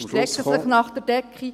Sie strecken sich nach der Decke.